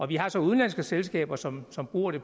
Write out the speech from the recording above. vi har så udenlandske selskaber som som bruger det